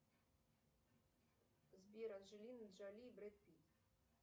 сбер анджелина джоли и брэд питт